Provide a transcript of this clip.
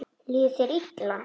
Líður þér illa?